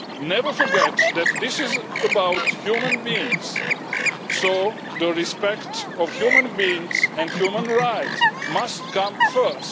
Never forget that this is about human beings, so respect for human beings and human rights must come first.